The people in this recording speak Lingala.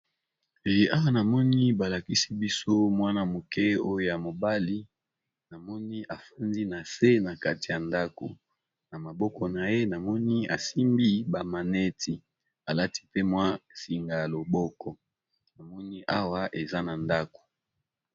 Awa namoni ba lakisi biso mwana moke oyo ya mobali namoni afandi na se na kati ya ndako, na maboko na ye namoni asimbi ba maneti alati pe mwa singa ya loboko namoni awa eza na ndako.